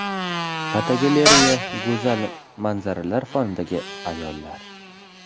Fotogalereya: Go‘zal manzaralar fonidagi ayollar.